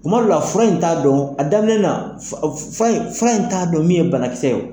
Tuma dɔw la fura in t'a dɔn a daminɛ na fura in fura in fura in t'a dɔn min ye banakisɛ ye wo.